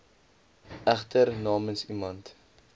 egter namens iemand